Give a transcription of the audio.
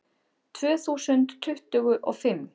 Tvö þúsund tuttugu og fimm